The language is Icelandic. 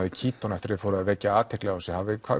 í Kíton eftir að þið fóruð að vekja athygli á þessu